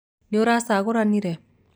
Nĩũracagũranire?